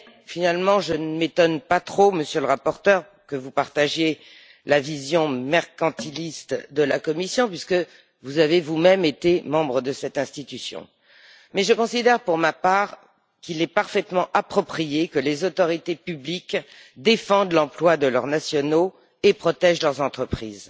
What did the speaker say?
Finalement, je ne m'étonne pas trop, Monsieur le Rapporteur, que vous partagiez la vision mercantiliste de la Commission, puisque vous avez vous même été membre de cette institution, mais je considère, pour ma part, qu'il est parfaitement approprié que les autorités publiques défendent l'emploi de leurs nationaux et protègent leurs entreprises.